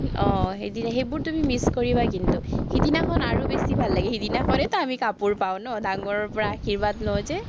আহ সেইদিনা সেইবোৰ তুমি miss কৰিবা কিন্তু, সিদিনাখন আৰু বেছি ভাল লাগে, সেইদিনাখনেতো আমি কাপোৰ পাঁও ন, ডাঙৰৰপৰা আশীৰ্বাদ লওঁ যে